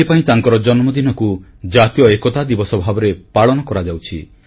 ଏଇଥିପାଇଁ ତାଙ୍କର ଜନ୍ମଦିନକୁ ଜାତୀୟ ଏକତା ଦିବସ ଭାବରେ ପାଳନ କରାଯାଉଛି